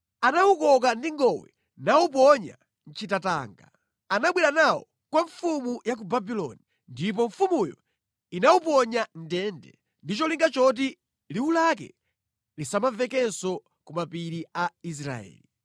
Anawukoka ndi ngowe nawuponya mʼchitatanga. Anabwera nawo kwa mfumu ya ku Babuloni ndipo mfumuyo inawuponya mʼndende ndi cholinga choti liwu lake lisamamvekenso ku mapiri a Israeli.